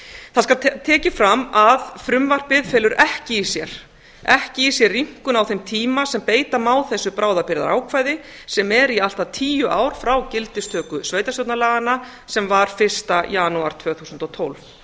það skal tekið fram að frumvarpið felur ekki í sér ekki í sér rýmkun á þeim tíma sem beita má þessu bráðabirgðaákvæði sem er í allt að tíu ár frá gildistöku sveitarstjórnarlaganna sem var fyrsta janúar tvö þúsund og tólf